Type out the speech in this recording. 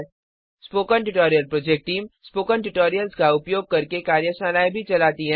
spoken tutorial project team spoken tutorials का उपयोग करके कार्यशालाएँ चलती है